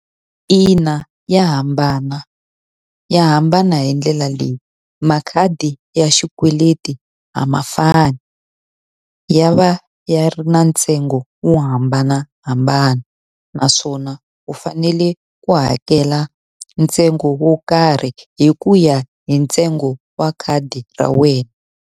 Ina ya hambana. Ya hambana hi ndlela leyi, makhadi ya xikweleti a ma fani, ya va ya ri na ntsengo wo hambanahambana. Naswona wu fanele ku hakela ntsengo wo karhi hi ku ya hi ntsengo wa khadi ra wena.